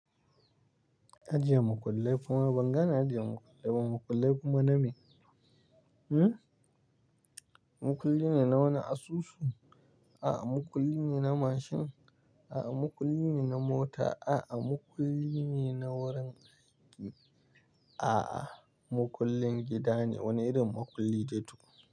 Ajiye makullai kuma ban gane ajiye makullai ba. Makullai kuma name, hmm? Makulli ne na wani asusu? A'a, makulli ne na mashin. A'a, makulli ne na mota. A'a, makulli ne na wurin aiki. A'a, makullin gida ne wani irin makulli dai to.